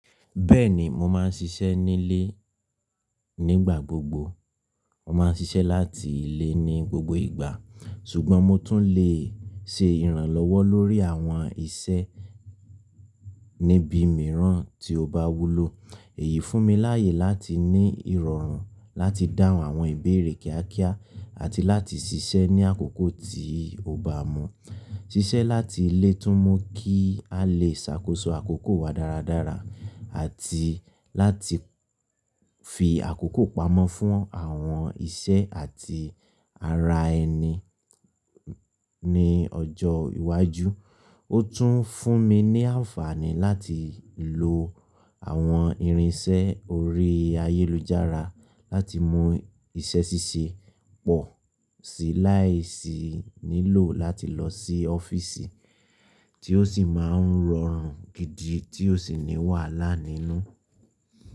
Bẹ́ẹ̀ni, mo máa ń ṣiṣẹ́ nílé nígbà gbogbo. Mo máa ń ṣiṣẹ́ láti ilé ní gbogbo ìgbà, ṣùgbọ́n mo tún lè ṣe ìrànlọ́wọ́ lórí àwọn iṣẹ́ níbi mìíràn tí ó bá wúlò. Èyí fún mi láayè láti ní ìrọ̀rùn láti dáhùn àwọn ìbéèrè kíákíá àti láti ṣiṣẹ́ ní àkókò tí ó bá mọ́. Ṣiṣẹ́ láti ilé tún mú kí a lè ṣàkóso àkókò wa dáradára àti láti fi àkókò pamọ́ fún àwọn iṣẹ́ àti ara ẹni ní ọjọ́ iwájú. Ó tún fún mi ní àǹfààní láti lo àwọn irinṣẹ́ orí ayélujára láti mú iṣẹ́ ṣíṣe pọ̀ sí láìsí nílò láti lọ sí ọ́fíìsì Tí ó sì máa ń rọrùn gidi tí ó sì ní wàhálà nínú.